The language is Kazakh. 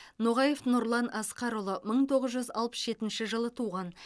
ноғаев нұрлан асқарұлы мың тоғыз жүз алпыс жетінші жылы туған